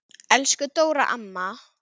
Elsku Dóra amma.